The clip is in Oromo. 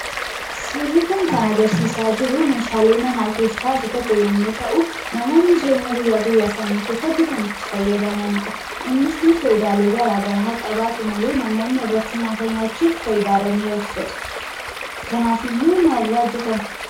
Suurri kun kan agarsiisaa jiruu meeshaalee manaa keessaa isa tokko yommuu ta'u namoonni jireenya guyyaa guyyaasaanii keessatti kan itti fayyadamanidha. Innisii faayidaalee garaa garaa haa qabaatu malee namoonni irratti nyaachuuf faayidaarra ni oolchatu. Kanaafiyyuu maalirraa hojjetame?